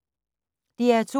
DR2